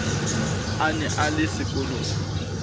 a ne a le sekolong